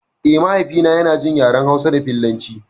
Eh, mahaifi na yana jin yaren hausa da filatanci